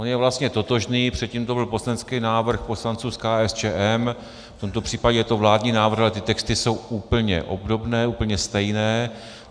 On je vlastně totožný, předtím to byl poslanecký návrh poslanců z KSČM, v tomto případě je to vládní návrh, ale ty texty jsou úplně obdobné, úplně stejné.